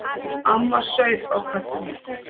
Amma saup á kaffinu.